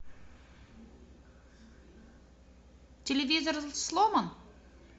телевизор сломан